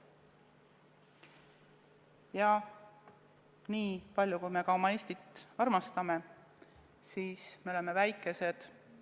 Ja nii palju, kui me oma Eestit ka ei armasta, tõsiasi on, et me oleme väikesed.